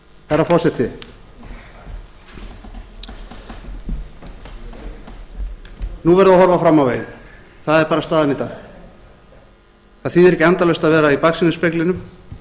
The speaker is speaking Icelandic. herra forseti nú verðum við að horfa fram á veginn það er bara staðan í dag það þýðir ekki endalaust að vera í baksýnisspeglinum